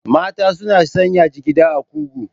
Mata suna sanya jigiɗa a kugu.